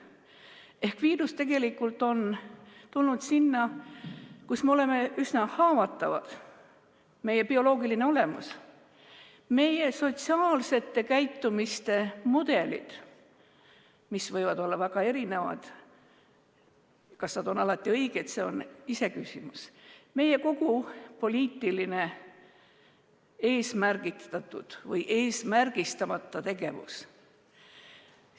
Ehk tegelikult on viirus tulnud sinna, kus me oleme üsna haavatavad: meie bioloogiline olemus, meie sotsiaalse käitumise mudelid, mis võivad olla väga erinevad – kas need on alati õiged, see on iseküsimus –, meie kogu poliitiline eesmärgistatud või eesmärgistamata tegevus.